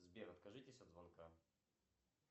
сбер откажитесь от звонка